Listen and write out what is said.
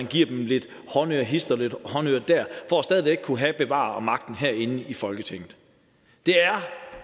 giver dem lidt håndører hist og lidt håndører her for stadig væk at kunne bevare magten herinde i folketinget det er